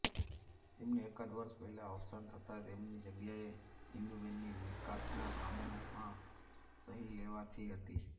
તેમનુ એકાદ વર્ષ પહેલા અવસાન થતાં તેમની જગ્યાએ ઇન્દુબેનની વિકાસના કામોમાં સહી લેવાથી હતી